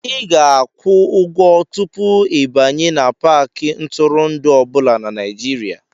Ị ga-akwụ ụgwọ tupu ịbanye n'Paakị ntụrụndụ ọ bụla na Nigeria